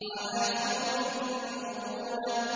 عَلَىٰ سُرُرٍ مَّوْضُونَةٍ